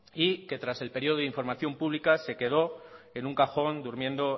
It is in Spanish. y que tras el periodo de información pública se quedó en un cajón durmiendo